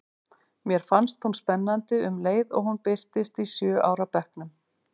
Mér fannst hún spennandi um leið og hún birtist í sjö ára bekknum.